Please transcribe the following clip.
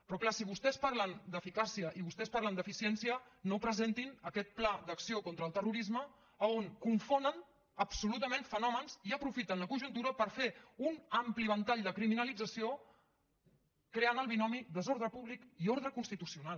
però és clar si vostès parlen d’eficàcia i vostès parlen d’eficiència no presentin aquest pla d’acció contra el terrorisme on confonen absolutament fenòmens i aprofiten la conjuntura per fer un ampli ventall de criminalització creant el binomi desordre públic i ordre constitucional